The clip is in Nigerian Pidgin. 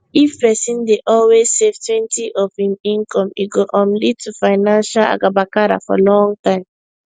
if person dey always savetwentyof im income e go um lead to financial agabakara for long time